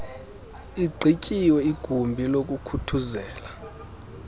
igqityiwe igumbi lokuthuthuzela